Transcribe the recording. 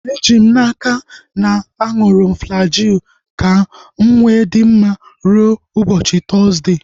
Eji m n'aka, aṅụrụ m Flajil ka mụ wee dị mma rue ụbọchị Tọzdee